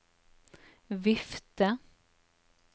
vifte